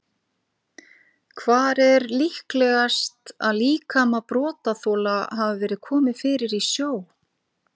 Hvar er líklegast að líkama brotaþola hafi verið komið fyrir í sjó?